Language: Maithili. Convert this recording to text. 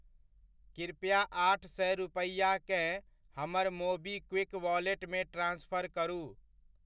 कृपया आठ सए रूपैआकेँ हमर मोबीक्विक वॉलेटमे ट्रान्सफर करू।